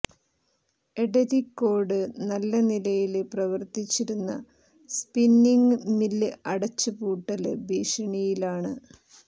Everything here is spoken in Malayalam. എടരിക്കോട് നല്ല നിലയില് പ്രവര്ത്തിച്ചിരുന്ന സ്പിന്നിംഗ് മില് അടച്ചു പൂട്ടല് ഭീഷണിയിലാണ്